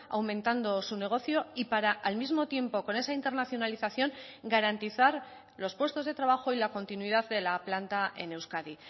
aumentando su negocio y para al mismo tiempo con esa internacionalización garantizar los puestos de trabajo y la continuidad de la planta en euskadi